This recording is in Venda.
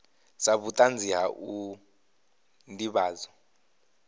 sa vhutanzi ha u ndivhadzo